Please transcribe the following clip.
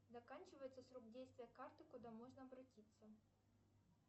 заканчивается срок действия карты куда можно обратиться